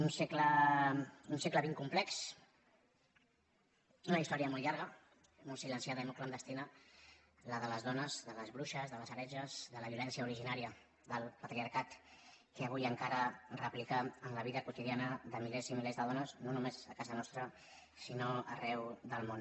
un segle xx complex una història molt llarga molt silenciada i molt clandestina la de les dones de les bruixes de les heretges de la violència originària del patriarcat que avui encara es replica en la vida quotidiana de milers i milers de dones no només a casa nostra sinó arreu del món